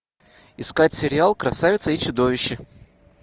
искать сериал красавица и чудовище